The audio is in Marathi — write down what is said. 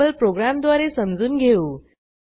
सँपल प्रोग्रॅमद्वारे समजून घेऊ